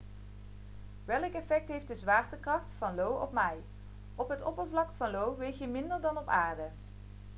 welk effect heeft de zwaartekracht van io op mij op het oppervlak van io weeg je minder dan op aarde